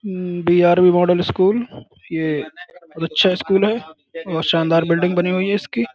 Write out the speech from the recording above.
हम्म्म BRV. Model school. ये बहुत अच्छा स्कूल है और शानदार बिल्डिंग बनी हुई है इसकी।